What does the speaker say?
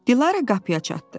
Dilarə qapıya çatdı.